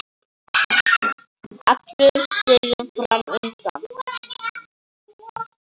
Allur stiginn fram undan.